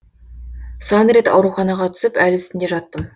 сан рет ауруханаға түсіп әл үстінде жаттым